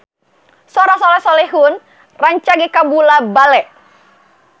Sora Soleh Solihun rancage kabula-bale